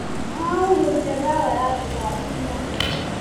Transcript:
Marahuhĩrire ndawa ya tũtambi ira.